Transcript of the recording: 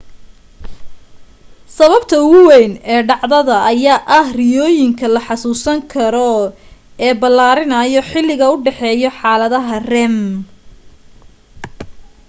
sababta ugu wayn ee dhacdada ayaa ah riyooyinka la xusuusan karo ee balaarinaayo xiliga u dhexeeyo xaaladaha rem